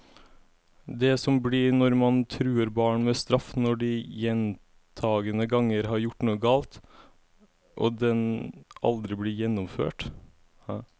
Det blir som når man truer barn med straff når de gjentagende ganger har gjort noe galt, og den aldri blir gjennomført.